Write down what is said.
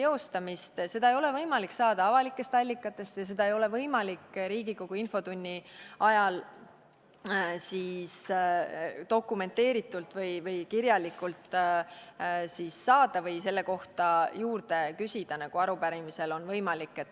Seda ei ole võimalik saada avalikest allikatest ja seda ei ole võimalik Riigikogu infotunni ajal dokumenteeritult või kirjalikult saada või selle kohta juurde küsida, nagu arupärimise puhul on võimalik.